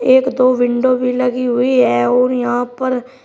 एक दो विंडो भी लगी हुई है और यहां पर--